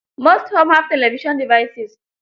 Most homes have television devises.